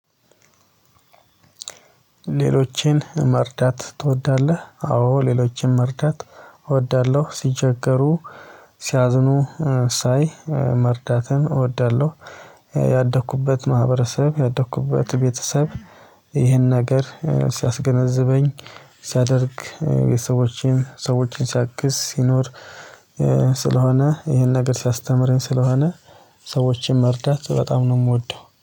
ሌሎችን መርዳት ትወዳለህ? አዎ ሌሎችን መርዳት እወዳለሁ ሲቸገሩ ሲያዝኑ ሳይ መርዳትን እወዳለሁ። ያደኩበት ማህበረሰብ ያደኩበት ቤተሰብ ይህን ነገር ሲያስገነዝበኝ ሲያደርግ የሰዎችን ሰዎችን ሲያግዝ ሲኖር። ስለሆነ ይሄን ነገር ሲያስተምረኝ ስለሆነ ሰዎችን መርዳት በጣም ነው የምወደው